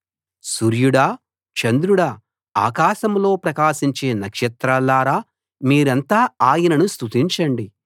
సూర్యడా చంద్రుడా ఆకాశంలో ప్రకాశించే నక్షత్రాల్లారా మీరంతా ఆయనను స్తుతించండి